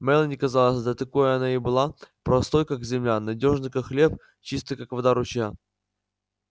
мелани казалась да такой она и была простой как земля надёжной как хлеб чистой как вода ручья